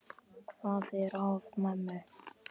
Hvað er að mömmu?